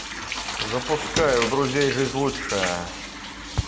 запускай у друзей жизнь лучшая